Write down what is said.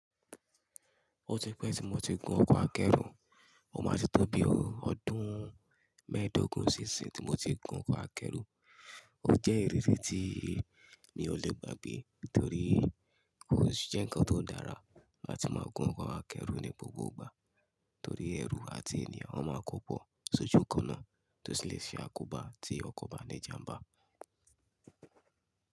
Ó ti pẹ́ tí mo ti gun ọkọ̀ akẹ́rù, ó máa ti tó bí ọdún mẹ́ẹ̀dógún sí ìsin tí mo ti gun ọkọ̀ akẹ́rù. Ó jẹ́ ìrírí tí mi ò lè gbà gbe torí kò jẹ́ nǹkan tó dára láti máa gun ọkọ̀ akẹ́rù ní gbogbo ìgbà torí ẹrù àti ènìyàn ó máa kó pọ̀ sójú kan náà tó sì lè ṣe àkóbá tí ọkọ̀ bá ní ìjàmbá.